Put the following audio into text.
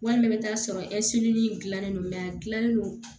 Walima i bɛ t'a sɔrɔ dilannen don mɛ a dilannen don